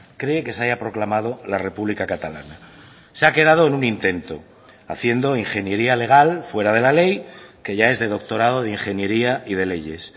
cree que se haya proclamado la república catalana se ha quedado en un intento haciendo ingeniería legal fuera de la ley que ya es de doctorado de ingeniería y de leyes